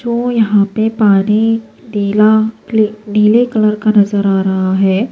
.جو یحیٰ پی پانی نیلا پل نیلے کلر کا نظر آ رہا ہیں